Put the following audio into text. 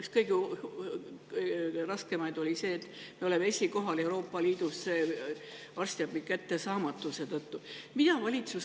Üks kõige raskemaid asju oli see, et me oleme esikohal Euroopa Liidus arstiabi kättesaamatuse poolest.